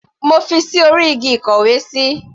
Mo fi ṣí orí igi ìkówesí.